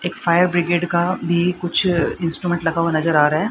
एक fire brigade का भी कुछ इंस्ट्रूमेंट लगा हुआ नजर आ रहा है।